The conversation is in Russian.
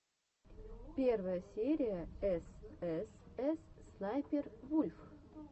первая серия эс эс эс снайпер вульф